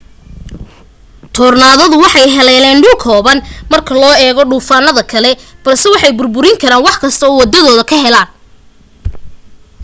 toornaadadu waxay haleelaan dhul kooban marka loo eego duufaanada kale balse waxay burburin karaan wax kasta oo waddadooda ka helaaan